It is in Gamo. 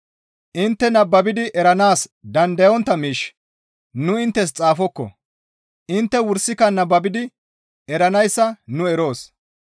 Intte nababidi eranaas dandayontta miish nu inttes xaafokko; intte wursika nababidi eranayssa nu eroos.